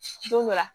Don dɔ la